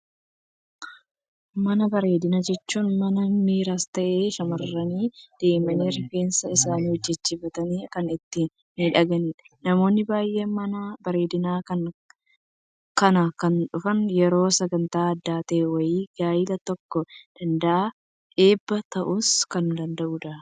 Mana bareedinaa jechuun mana dhiiras ta'ee, shamarran deemanii rifeensa isaanii hojjechiifatanii kan itti miidhaganidha. Namoonni baayyeen mana bareedinaa kana kan dhufan yeroo sagantaa addaa ta'e wayii; gaa'ela ta'uu danda'a, eebba ta'uus kan danda'udha.